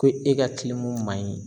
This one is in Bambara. Ko e ka ma ɲi